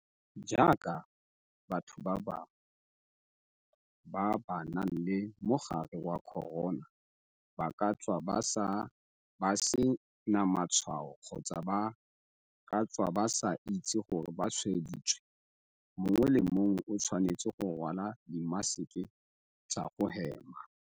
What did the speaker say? Jaaka batho ba bangwe ba ba nang le mogare wa corona ba ka tswa ba se na matshwao kgotsa ba ka tswa ba sa itse gore ba tshwaeditswe, mongwe le mongwe o tshwanetse go rwala dimaseke tsa go hema.